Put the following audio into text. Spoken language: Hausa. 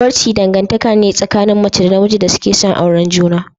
Zawarci dangantaka ce tsakanin mace da namiji da suke son auren juna.